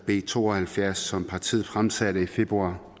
b to og halvfjerds som partiet fremsatte i februar